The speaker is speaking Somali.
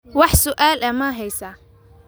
Wax su'aal ah ma haysaa?